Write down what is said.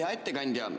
Hea ettekandja!